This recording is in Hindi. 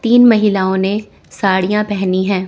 तीन महिलाओं ने साड़ियां पहनी है।